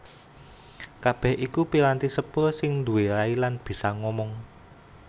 Kabèh iku piranti sepur sing nduwé rai lan bisa ngomong